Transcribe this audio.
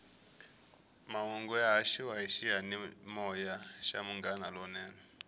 mahungu ya haxiwa hi xiyanimoya xa munghana lonene